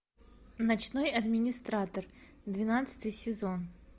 ночной администратор двенадцатый сезон